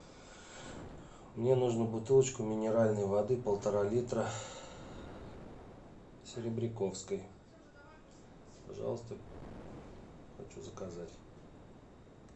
мне нужно бутылочку минеральной воды полтора литра серебряковской пожалуйста хочу заказать